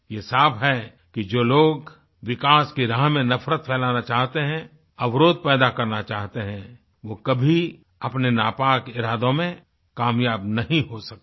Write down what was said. ये साफ है कि जो लोग विकास की राह में नफरत फैलाना चाहते हैं अवरोध पैदा करना चाहते हैं वो कभी अपने नापाक इरादों में कामयाब नहीं हो सकते